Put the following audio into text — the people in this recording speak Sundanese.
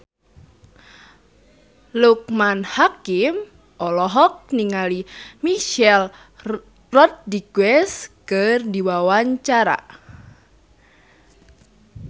Loekman Hakim olohok ningali Michelle Rodriguez keur diwawancara